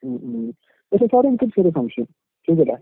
ഉം ഉം. പക്ഷെ സാറേ എനിക്കൊരു ചെറിയ സംശയം. ചോയ്‌ച്ചോട്ടെ?